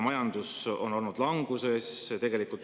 Majandus on olnud languses.